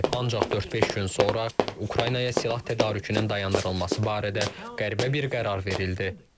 Ancaq dörd-beş gün sonra Ukraynaya silah tədarükünün dayandırılması barədə qəribə bir qərar verildi.